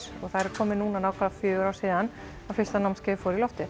og það eru komin nákvæmlega fjögur ár síðan að fyrsta námskeiðið fór í loftið